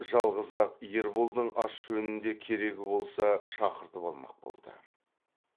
жалғыз ақ ерболдың ас жөнінде керегі болса шақыртып алмақ болды